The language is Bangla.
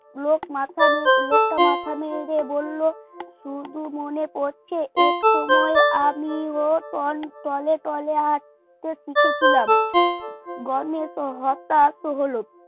লোক মাথা নিয়ে লোকটা মাথা নেড়ে বলল শুধু মনে পরছে এক সময় আমিও তলতলে হাত হাঁটতে শিখেছিলাম গণেশ হতাশ হলো